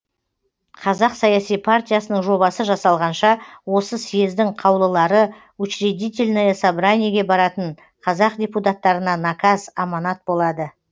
қазақ саяси партиясының жобасы жасалғанша осы сьездің қаулылары учредительное собраниеге баратын қазақ депутаттарына наказ аманат болады